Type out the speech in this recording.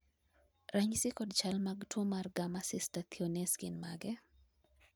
ranyisi kod chal mag tuo mar Gamma cystathionase gin mage?